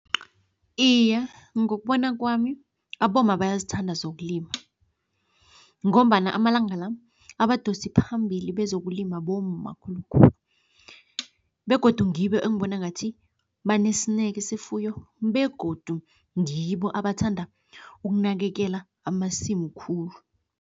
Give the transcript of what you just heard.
Iye, ngokubona kwami abomma bayazithanda zokulima ngombana amalanga la, abadosi phambili bezokulima bomma khulukhulu begodu ngibo engibona ngathi banesineke sefuyo begodu ngibo abathanda ukunakekela amasimu khulu.